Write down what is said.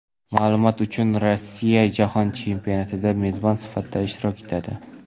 Ma’lumot uchun, Rossiya Jahon chempionatida mezbon sifatida ishtirok etadi.